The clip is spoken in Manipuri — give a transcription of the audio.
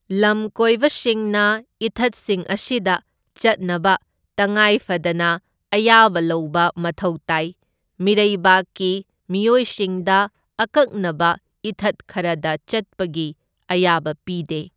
ꯂꯝꯀꯣꯏꯕꯁꯤꯡꯅ ꯏꯊꯠꯁꯤꯡ ꯑꯁꯤꯗ ꯆꯠꯅꯕ ꯇꯉꯥꯏ ꯐꯗꯅ ꯑꯌꯥꯕ ꯂꯧꯕ ꯃꯊꯧ ꯇꯥꯏ, ꯃꯤꯔꯩꯕꯥꯛꯀꯤ ꯃꯤꯑꯣꯏꯁꯤꯡꯗ ꯑꯀꯛꯅꯕ ꯏꯊꯠ ꯈꯔꯗ ꯆꯠꯄꯒꯤ ꯑꯌꯥꯕ ꯄꯤꯗꯦ꯫